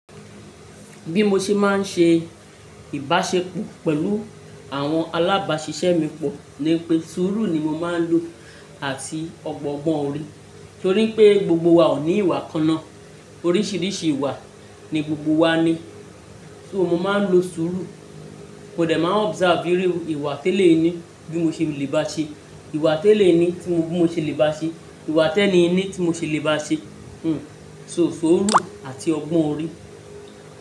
Bí mo ṣe máa ń ṣe ìbáṣepọ̀ pẹ̀lú àwọn alábáṣiṣẹ́ mi pọ̀ ni pé sùúrù ni mo máa ń lò àti ọgbọ́n orí torí pé gbogbo wa ò ní ìwà kan ná. Oríṣìíríṣìí ìwà ni gbogbo wa ní. So mo máa ń lo sùúrù, mò de máa observe ìru ìwà tẹ́lẹ̀yi ni bí mo ṣe lè bá ṣe, ìwà tẹ́lẹ̀yi ni tí mo ṣe lè bá ṣe, ìwà teni'yi ni tí mo ṣe lè bá ṣe. Hmm, so sùúrù àti ọgbọ́n orí.